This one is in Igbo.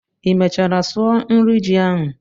ị mechara sụọ nri ji ahụ?